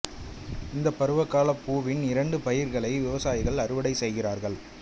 இந்த பருவகால பூவின் இரண்டு பயிர்களை விவசாயிகள் அறுவடை செய்கிறார்கள்